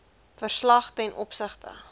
verslag ten opsigte